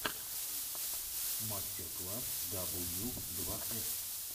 мастер класс дабл ю два эс